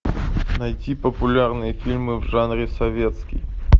найти популярные фильмы в жанре советский